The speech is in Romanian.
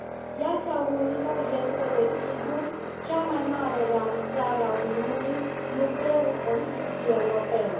Piața unică este, desigur, cea mai mare realizare a Uniunii, nucleul construcției europene.